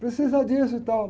Precisa disso e tal.